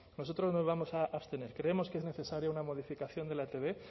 nosotros nos vamos a abstener creemos que es necesaria una modificación de la etb